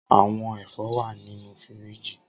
Awọn ẹfọ wa ninu firiji.